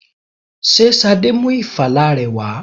Ṣé Ṣadé mú ìfala rẹ wà?